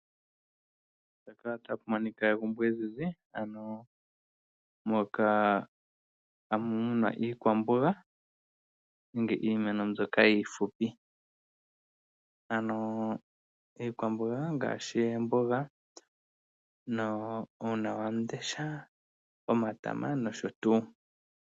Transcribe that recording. Iikwamboga yimwe ohayi kunwa megumbo ezizi, nelalakano opo yakeelelwe kiipuka. Iikwamboga ongaashi omatama, uunawamundesha nomboga yuushimba.